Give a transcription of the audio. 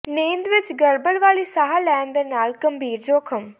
ਨੀਂਦ ਵਿੱਚ ਗੜਬੜ ਵਾਲੀ ਸਾਹ ਲੈਣ ਦੇ ਨਾਲ ਗੰਭੀਰ ਜੋਖਮ